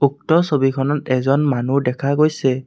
উক্ত ছবিখনত এজন মানুহ দেখা গৈছে।